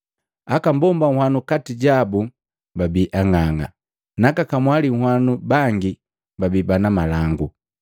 Aka mbomba nhwanu kati jabu babi ang'ang'a na aka kamwali nhwanu bangi babii bana malangu.